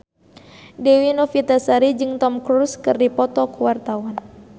Dewi Novitasari jeung Tom Cruise keur dipoto ku wartawan